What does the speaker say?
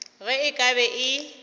ge e ka be e